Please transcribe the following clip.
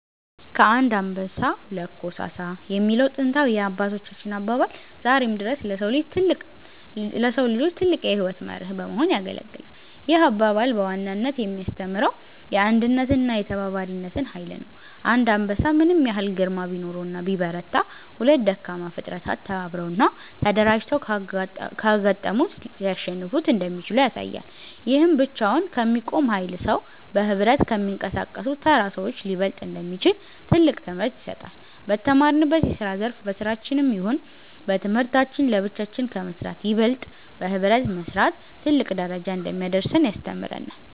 ከአንድ አንበሳ ሁለት ኮሳሳ የሚለው ጥንታዊ የአባቶቻችን አባባል ዛሬም ድረስ ለሰው ልጆች ትልቅ የሕይወት መርህ በመሆን ያገለግላል። ይህ አባባል በዋናነት የሚያስተምረው የአንድነትንና የተባባሪነትን ኃይል ነው። አንድ አንበሳ ምንም ያህል ግርማ ቢኖረውና ቢበረታ፤ ሁለት ደካማ ፍጥረታት ተባብረውና ተደራጅተው ካጋጠሙት ሊያሸንፉት እንደሚችሉ ያሳያል። ይህም ብቻውን ከሚቆም ኃያል ሰው፣ በኅብረት ከሚንቀሳቀሱ ተራ ሰዎች ሊበለጥ እንደሚችል ትልቅ ትምህርት ይሰጣል። በተሰማራንበት የስራ ዘርፍ በስራችንም ይሁን በትምህርታችን ለብቻችን ከመስራት ይበልጥ በህብረት መስራት ትልቅ ደረጃ እንደሚያደርሰን ያስተምረናል።